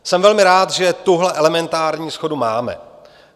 Jsem velmi rád, že tuhle elementární shodu máme.